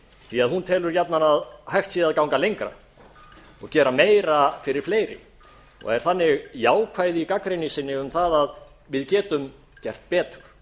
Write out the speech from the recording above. því að hún telur jafnan að hægt sé að ganga lengra og gera meira fyrir fleiri og er þannig jákvæð í gagnrýni sinni um það að við getum gert betur